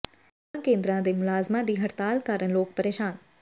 ਸੇਵਾ ਕੇਂਦਰਾਂ ਦੇ ਮੁਲਾਜ਼ਮਾਂ ਦੀ ਹੜਤਾਲ ਕਾਰਨ ਲੋਕ ਪ੍ਰੇਸ਼ਾਨ